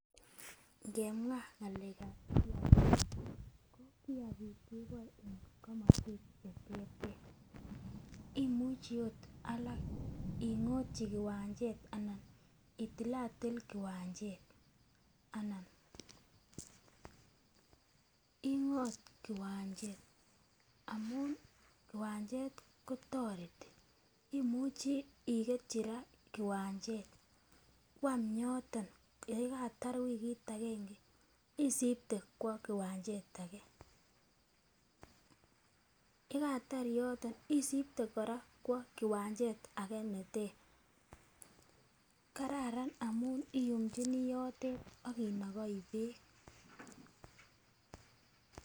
Ngemwa ngalekab kiyagik, ko kiyagik keboen en komoswek cheterter imuchi ot alak ingotyi kiwanchet anan itilatil kiwamchet anan ingot kiwanchet amun kiwanchet otoreti imuchi ikerchi raa kiwanchet kwam yoton yekatar wikit agenge isipte kwo kiwanchet age yekatar yoton isibte kwo kiwanchet age neter. Knararan amun iyumchinii yotet akinogoi beek.